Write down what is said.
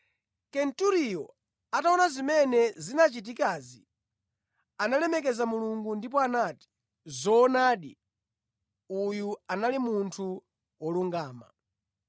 Kenturiyo, ataona zimene zinachitikazi, analemekeza Mulungu ndipo anati, “Zoonadi, uyu anali munthu wolungama.”